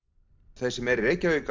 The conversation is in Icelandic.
þeir sem eru í Reykjavík